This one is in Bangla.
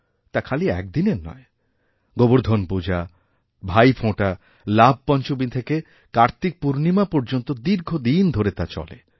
তা খালিএকদিনের নয় গোবর্ধন পূজা ভাইফোঁটা লাভপঞ্চমী থেকে কার্তিকপূর্ণিমা পর্যন্তদীর্ঘদিন ধরে তা চলে